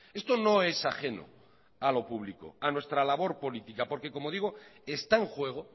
esto no es ajeno a lo público a nuestra labor política porque como digo está en juego